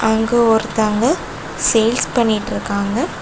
இங்க ஒருத்தவங்க சேல்ஸ் பண்ணிட்ருக்காங்க.